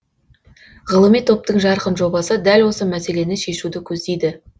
ғылыми топтың жарқын жобасы дәл осы мәселені шешуді көздейді